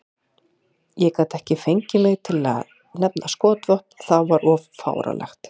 Ég gat ekki fengið mig til að nefna skotvopn, það var of fáránlegt.